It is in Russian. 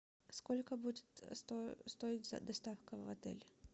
сколько будет стоить доставка в отель